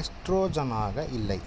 எஸ்ட்ரோஜனாக இல்லை